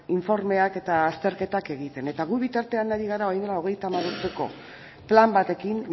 informeak eta azterketak egiten eta gu bitartean ari gara orain del hogeita hamabost urteko plan batekin